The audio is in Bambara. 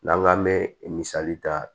N'an k'an mɛ misali ta